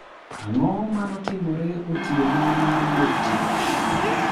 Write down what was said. Ang'o manotimore otieno mar wuok tich?